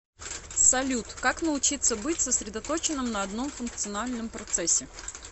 салют как научиться быть сосредоточенным на одном функциональном процессе